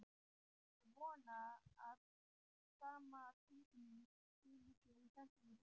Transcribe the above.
Ég vona að sama tilfinning skili sér í þessari bók.